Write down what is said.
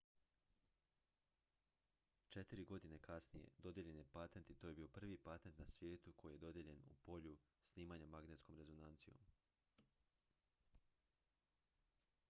četiri godine kasnije dodijeljen je patent i to je bio prvi patent na svijetu koji je dodijeljen u polju snimanja magnetskom rezonancijom